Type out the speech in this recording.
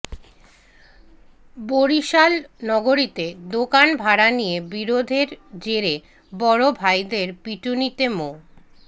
বরিশাল নগরীতে দোকান ভাড়া নিয়ে বিরোধের জেরে বড় ভাইদের পিটুনিতে মো